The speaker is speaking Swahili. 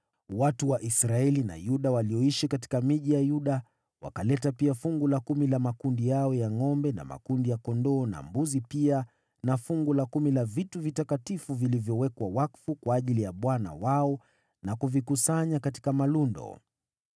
Watu wa Israeli na Yuda walioishi katika miji ya Yuda wakaleta pia fungu la kumi la makundi yao ya ngʼombe na makundi ya kondoo na mbuzi pia na fungu la kumi la vitu vitakatifu vilivyowekwa wakfu kwa ajili ya Bwana Mungu wao na kuvikusanya katika malundo.